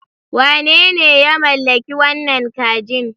Wane ne ya mallaki wannan kajin?